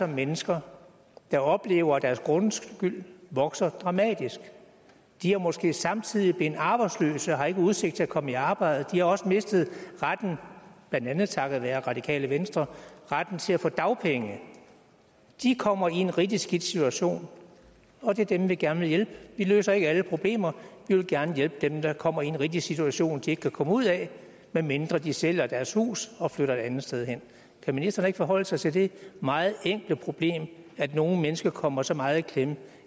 mennesker der oplever at deres grundskyld vokser dramatisk de er måske samtidig blevet arbejdsløse og har ikke udsigt til at komme i arbejde de har også mistet retten blandt andet takket være radikale venstre til at få dagpenge de kommer i en rigtig skidt situation og det er dem vi gerne vil hjælpe vi løser ikke alle problemer vi vil gerne hjælpe dem der kommer i en rigtig skidt situation de ikke kan komme ud af medmindre de sælger deres hus og flytter et andet sted hen kan ministeren ikke forholde sig til det meget enkle problem at nogle mennesker kommer så meget i klemme